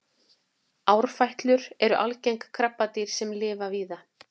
árfætlur eru algeng krabbadýr sem lifa víða